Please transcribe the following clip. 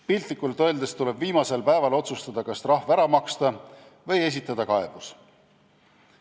Piltlikult öeldes tuleb viimasel päeval otsustada, kas trahv ära maksta või esitada kaebus.